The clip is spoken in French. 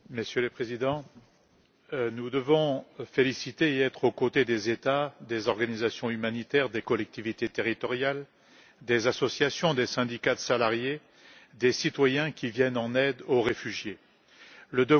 Monsieur le Président, nous devons être aux côtés des États, des organisations humanitaires, des collectivités territoriales, des associations, des syndicats de salariés, des citoyens qui viennent en aide aux réfugiés et les féliciter.